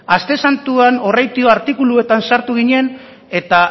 aste santuan horraitio artikuluetan sartu ginen eta